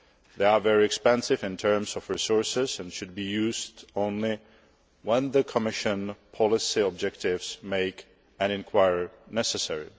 They are very expensive in terms of resources and should be used only when the Commission's policy objectives make an inquiry necessary.